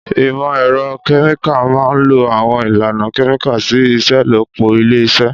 Ìmọ̀ ẹ̀rọ kẹ́míkà máa ń lo àwọn ìlànà kẹ́míkà sí ìṣelọ́pọ̀ ilé-iṣẹ́.